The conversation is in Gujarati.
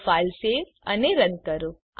તો ફાઈલ સેવ અને રન કરો